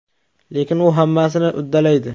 Lekin u hammasini uddalaydi.